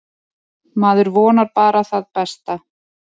Maður vonar bara það besta.